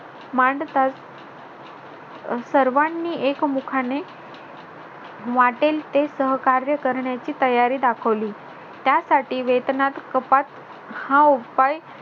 मांडतात सर्वांनी एकमुखाने वाटेल ते सहकार्य करण्याची तयारी दाखवली त्यासाठी वेतनात कपात हा उपाय